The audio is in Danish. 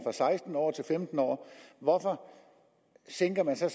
seksten år til femten år hvorfor sænker man så